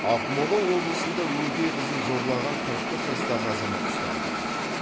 ақмола облысында өгей қызын зорлаған қырық бір жастағы азамат ұсталды